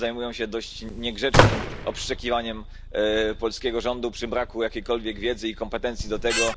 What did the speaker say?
Wszyscy zajmują się dość niegrzecznym obszczekiwaniem polskiego rządu przy braku jakiejkolwiek wiedzy i kompetencji do tego.